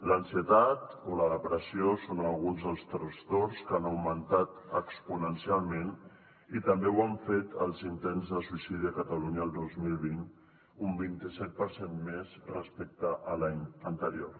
l’ansietat o la depressió són alguns dels trastorns que han augmentat exponencialment i també ho han fet els intents de suïcidi a catalunya el dos mil vint un vint i set per cent més respecte a l’any anterior